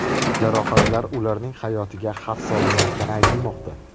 Jarohatlar ularning hayotiga xavf solmayotgani aytilmoqda.